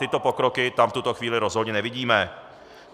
Tyto pokroky tam v tuto chvíli rozhodně nevidíme.